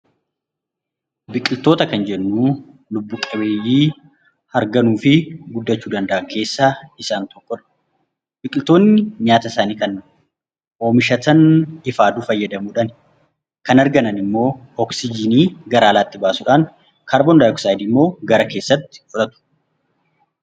Biqiltoota kan jennu lubbu qabeeyyii harganuu fi guddachuu danda'an keessaa isaan tokko dha. Biqiltoonni nyaata isaanii kan oomishatan ifa aduu fayyadamuu dhaani. Kan harganan immoo oksijiinii gara alaatti baasuu dhaan kaarbondayoksaayidii immoo gara keessaa tti fudhatu.